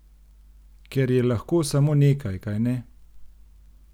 Ker je lahko samo nekaj, kajne?